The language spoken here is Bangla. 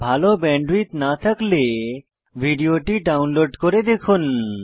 ভাল ব্যান্ডউইডথ না থাকলে ভিডিওটি ডাউনলোড করে দেখুন